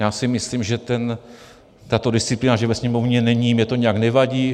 Já si myslím, že tato disciplína, že ve Sněmovně není, mně to nijak nevadí.